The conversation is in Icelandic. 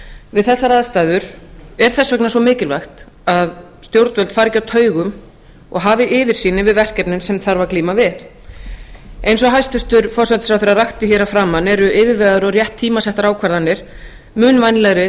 við þessar aðstæður er þess vegna svo mikilvægt að stjórnvöld fari ekki á taugum og hafi yfirsýn yfir verkefnin sem þarf að glíma við ein og forsætisráðherra rakti hér að framan eru yfirvegaðar og rétt tímasettar ákvarðanir mun vænlegri